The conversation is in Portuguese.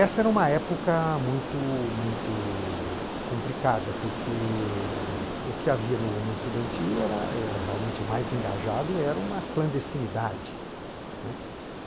Essa era uma época muito muito complicada, porque o que havia no movimento estudantil, era é realmente o mais engajado, era uma clandestinidade, né.